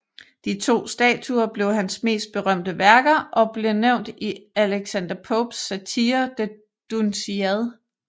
De to statuer blev hans mest berømte værker og blev nævnt i Alexander Popes satire The Dunciad